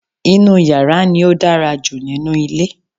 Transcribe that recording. inú yàrá ni ó dára jù nínú ilé